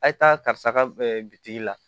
A ye taa karisa ka bitigi la